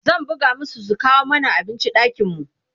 zan buga masu su kawo mana abinci ɗakin mu